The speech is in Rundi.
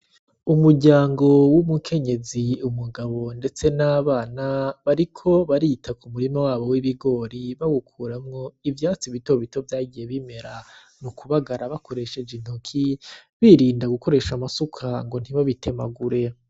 Umuryango w'umukenyezi, umugabo ndetse n'abana bariko barita ku murima wabo w'ibigori bawukuramwo ivyatsi bitobito vyagiye bimera, mu kubagara bakoresheje intoke birinda gukoresha amasuka ngo ntibabitemagure.